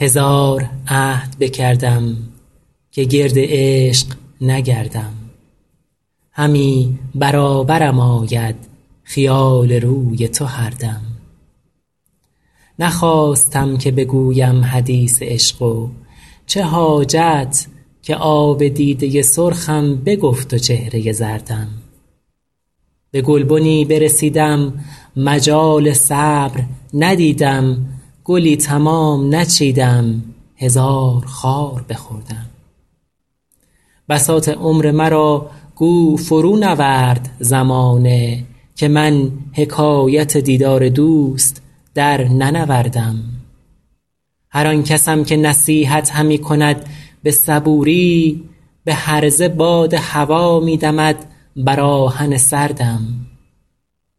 هزار عهد بکردم که گرد عشق نگردم همی برابرم آید خیال روی تو هر دم نخواستم که بگویم حدیث عشق و چه حاجت که آب دیده سرخم بگفت و چهره زردم به گلبنی برسیدم مجال صبر ندیدم گلی تمام نچیدم هزار خار بخوردم بساط عمر مرا گو فرونورد زمانه که من حکایت دیدار دوست درننوردم هر آن کسم که نصیحت همی کند به صبوری به هرزه باد هوا می دمد بر آهن سردم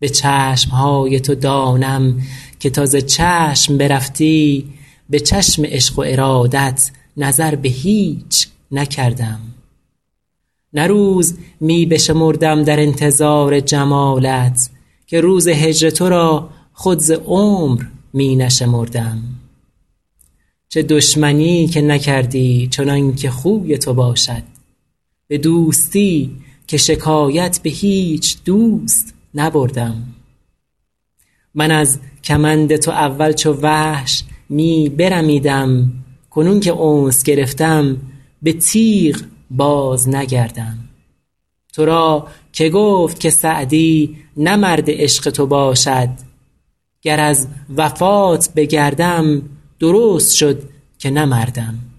به چشم های تو دانم که تا ز چشم برفتی به چشم عشق و ارادت نظر به هیچ نکردم نه روز می بشمردم در انتظار جمالت که روز هجر تو را خود ز عمر می نشمردم چه دشمنی که نکردی چنان که خوی تو باشد به دوستی که شکایت به هیچ دوست نبردم من از کمند تو اول چو وحش می برمیدم کنون که انس گرفتم به تیغ بازنگردم تو را که گفت که سعدی نه مرد عشق تو باشد گر از وفات بگردم درست شد که نه مردم